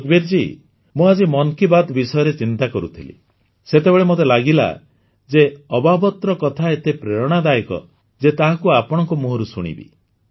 ସୁଖବୀର ଜୀ ମୁଁ ଆଜି ମନ୍ କି ବାତ୍ ବିଷୟରେ ଚିନ୍ତା କରୁଥିଲି ସେତେବେଳେ ମୋତେ ଲାଗିଲା ଯେ ଅବାବାତ୍ର କଥା ଏତେ ପ୍ରେରଣାଦାୟକ ଯେ ତାହାକୁ ଆପଣଙ୍କ ମୁହଁରୁ ଶୁଣିବି